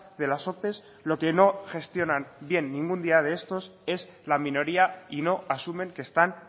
de las ope lo que no gestionan bien ningún día de estos es la minoría y no asumen que están